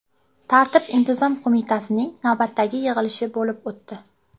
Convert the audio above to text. Tartib-intizom qo‘mitasining navbatdagi yig‘ilishi bo‘lib o‘tdi.